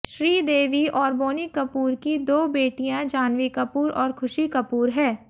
श्रीदेवी और बोनी कपूर की दो बेटियां जाह्नवी कपूर और खुशी कपूर है